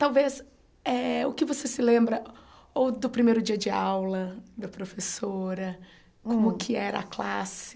Talvez, eh o que você se lembra ou do primeiro dia de aula da professora, hum como que era a classe?